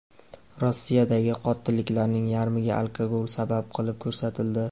Rossiyadagi qotilliklarning yarmiga alkogol sabab qilib ko‘rsatildi.